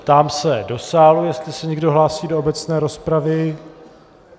Ptám se do sálu, jestli se někdo hlásí do obecné rozpravy.